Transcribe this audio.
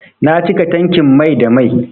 Na cika tankin mai da mai.